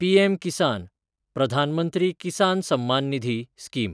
पीएम-किसान (प्रधान मंत्री किसान सम्मान निधी) स्कीम